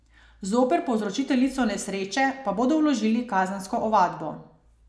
Zoper povzročiteljico nesreče pa bodo vložili kazensko ovadbo.